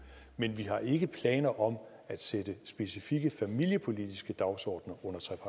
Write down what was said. men vi har ikke planer om at sætte specifikke familiepolitiske dagsordener